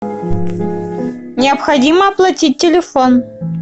необходимо оплатить телефон